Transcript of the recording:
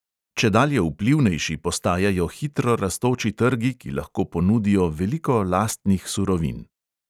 Čedalje vplivnejši postajajo hitro rastoči trgi, ki lahko ponudijo veliko lastnih surovin.